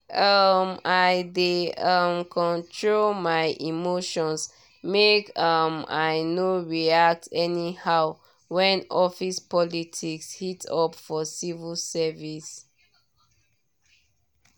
um i dey um control my emotions make um i no react anyhow when office politics heat up for civil service work.